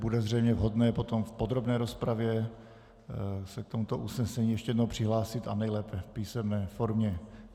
Bude zřejmě vhodné potom v podrobné rozpravě se k tomuto usnesení ještě jednou přihlásit, a nejlépe v písemné formě.